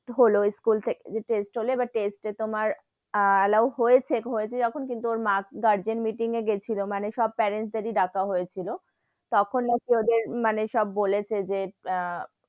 হলো স্কুল থেকে যে test হলে, এবার test এ তোমার আহ allow হয়েছে, হয়েছে যখন কিন্তু ওর মা garden meeting এ গেছিলো, মানে সব parents দের এ ডাকা হয়েছিল, তখন নাকি ওদের মানে সব বলেছে যে আহ